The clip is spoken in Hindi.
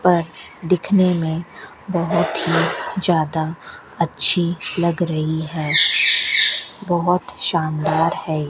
पर्स दिखने में बहोत ही ज्यादा अच्छी लग रही है बहोत शानदार है।